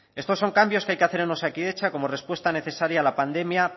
estos son cambios que hay que hacer en osakidetza como respuesta necesaria a la pandemia